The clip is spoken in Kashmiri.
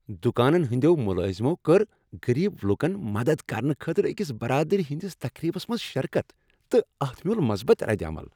دکانن ہٕنٛدٮ۪و ملٲزِمو کٔر غٔریٖبن لوکن مدتھ کرنہٕ خٲطرٕ أکس برادری ہندِس تقریبس منٛز شرکت تہٕ اتھ مِیوٗل مثبت ردعمل۔